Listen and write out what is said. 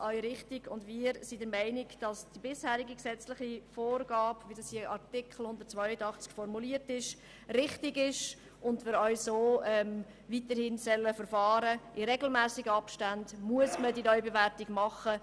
Wir sind der Meinung, dass die bisherige gesetzliche Vorgabe in Artikel 182 richtig ist und wir diese allgemeine Neubewertung auch weiterhin in regelmässigen Abständen vornehmen sollen.